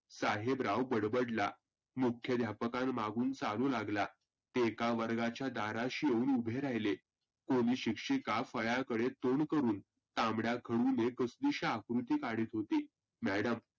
साहेबराव बडबडला. मुख्यध्यापकां माघून चालू लागला. एका वर्गाच्या दाराशी येऊन उभे राहीले कोणि शिक्षीका फळ्याकडे तोंड करुण तांबड्या खडुनी आकृती काढत होती. madam